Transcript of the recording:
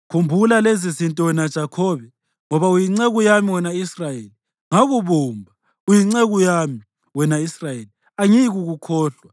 “Khumbula lezizinto, wena Jakhobe, ngoba uyinceku yami, wena Israyeli. Ngakubumba, uyinceku yami; wena Israyeli, angiyikukukhohlwa.